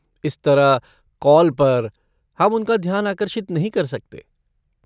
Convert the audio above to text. इस तरह, कॉल पर, हम उनका ध्यान आकर्षित नहीं कर सकते।